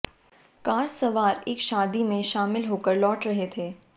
car सवार एक शादी में शामिल होकर लौट रहे थे